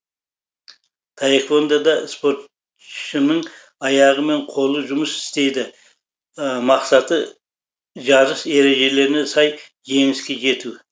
таэквондо да спортшының аяғы мен қолы жұмыс істейді мақсаты жарыс ережелеріне сай жеңіске жету